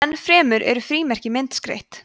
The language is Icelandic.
enn fremur eru frímerki myndskreytt